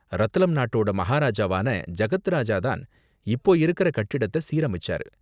ரத்லம் நாட்டோட மஹாராஜாவான ஜகத் ராஜா தான் இப்போ இருக்கற கட்டிடத்த சீரமைச்சாரு.